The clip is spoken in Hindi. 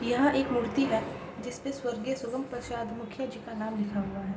यह एक मूर्ति है जिस पर स्वर्गीय सुगम प्रसाद मुखिया जी का नाम लिखा हुआ है।